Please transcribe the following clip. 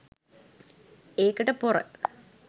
ඒකට පොර